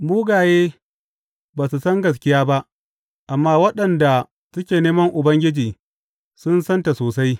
Mugaye ba su san gaskiya ba, amma waɗanda suke neman Ubangiji sun santa sosai.